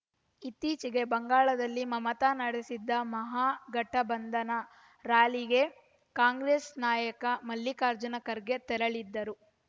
ಇತ್ತೀಚೆಗೆ ಬಂಗಾಳದಲ್ಲಿ ಮಮತಾ ನಡೆಸಿದ್ದ ಮಹಾಗಠಬಂಧನ ರ್‍ಯಾಲಿಗೆ ಕಾಂಗ್ರೆಸ್‌ ನಾಯಕ ಮಲ್ಲಿಕಾರ್ಜುನ ಖರ್ಗೆ ತೆರಳಿದ್ದರು